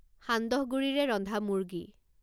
সান্দহগুড়িৰে ৰন্ধা মুৰ্গী